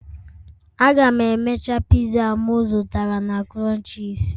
Aga m emecha pizza a m zụtara na crunches